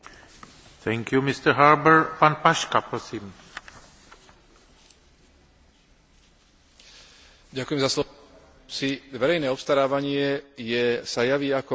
Verejné obstarávanie sa javí ako účinný spôsob nakupovania tovarov a služieb pre verejný sektor umožňujúci úspešné dosahovanie primeraných cien a znižovania podozrení z korupcie.